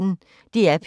DR P1